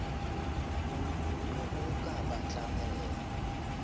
ne o ka ba tlamella